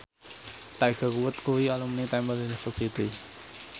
Tiger Wood kuwi alumni Temple University